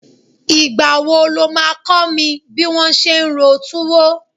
Ìgbà wo lo máa kọ mi bí wón ṣe ń ro tuwo?